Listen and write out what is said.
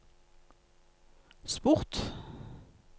sport